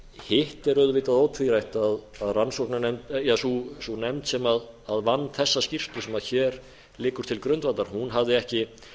hitt er auðvitað ótvírætt að sú nefnd sem vann þessa skýrslu sem hér liggur til grundvallar hafði ekki